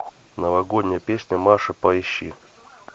новогодняя песня маши поищи